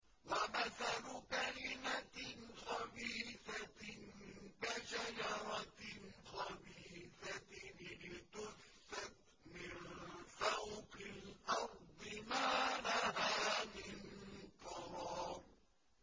وَمَثَلُ كَلِمَةٍ خَبِيثَةٍ كَشَجَرَةٍ خَبِيثَةٍ اجْتُثَّتْ مِن فَوْقِ الْأَرْضِ مَا لَهَا مِن قَرَارٍ